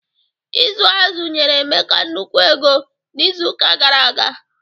Ịzụ azụ nyere Emeka nnukwu ego n'izu ụka gara aga.